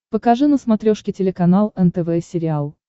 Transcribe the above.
покажи на смотрешке телеканал нтв сериал